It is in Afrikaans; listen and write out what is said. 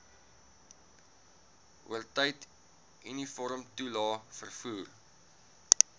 oortyd uniformtoelae vervoer